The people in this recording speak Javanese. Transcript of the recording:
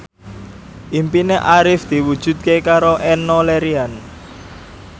impine Arif diwujudke karo Enno Lerian